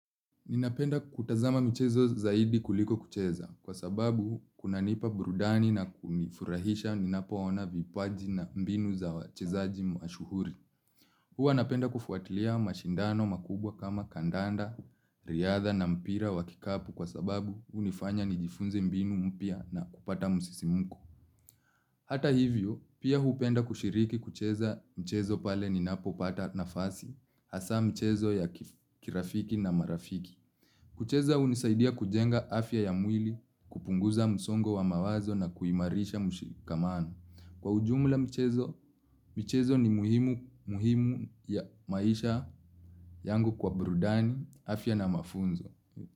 Ninapenda kutazama michezo zaidi kuliko kucheza, kwa sababu kunanipa burudani na kunifurahisha ninapoona vipaji na mbinu za wachezaji mashuhuri. Huwa napenda kufuatilia mashindano makubwa kama kandanda, riadha na mpira wa kikapu kwa sababu unifanya nijifunze mbinu mpya na kupata musisimuko. Hata hivyo, pia huupenda kushiriki kucheza mchezo pale ninapopata nafasi, hasa mchezo ya kirafiki na marafiki. Kucheza unisaidia kujenga afya ya mwili, kupunguza msongo wa mawazo na kuimarisha mshikamano. Kwa ujumla, michezo ni muhimu ya maisha yangu kwa burudani, afya na mafunzo.